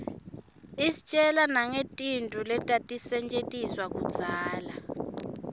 istjela nangetintfo letatisetjentiswa kudzala